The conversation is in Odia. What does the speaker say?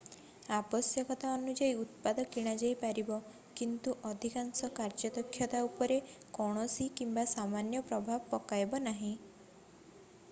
ଆବଶ୍ୟକତା ଅନୁଯାୟୀ ଉତ୍ପାଦ କିଣାଯାଇ ପାରିବ କିନ୍ତୁ ଅଧିକାଂଶ କାର୍ଯ୍ୟଦକ୍ଷତା ଉପରେ କୌଣସି କିମ୍ବା ସାମାନ୍ୟ ପ୍ରଭାବ ପକାଇବ ନାହିଁ